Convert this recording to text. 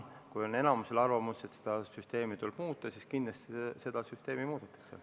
Kui enamusel on arvamus, et süsteemi tuleb muuta, siis kindlasti seda süsteemi muudetakse.